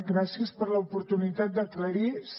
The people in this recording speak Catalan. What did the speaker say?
gràcies per l’oportunitat d’aclarir ho